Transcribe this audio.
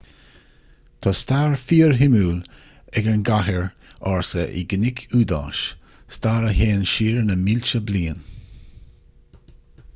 tá stair fíorshuimiúil ag an gcathair ársa i gcnoic iúidáis stair a théann siar na mílte bliain